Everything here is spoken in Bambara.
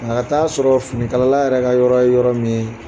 A ka taa'a sɔrɔ fini kalala yɛrɛ ka yɔrɔ ye yɔrɔ min ye